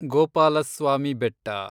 Gopalaswamy Betta